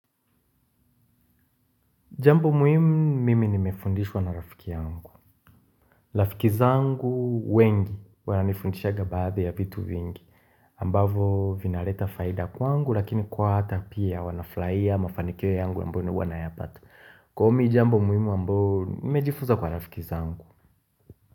Jambo muhimu mimi nimefundishwa na rafiki yangu. Rafiki zangu wengi wananiifundishanga baadhi ya vitu vingi ambavyo vinaleta faida kwangu lakini kwao hata pia wanafurahia mafanikio yangu ambayo mimi huwanayapata. Kwangu mimi jambo muhimu ambayo nimejifuza kwa rafiki zangu.